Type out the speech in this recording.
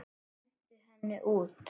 Hentu henni út!